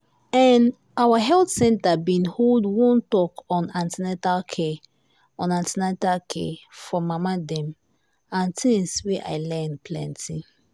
ehn our health center been hold one talk on an ten atal care on an ten atal care for mama dem and things wey i learn plenty.